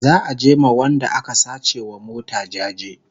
za'a je a ma Wanda aka sace wa mota jaje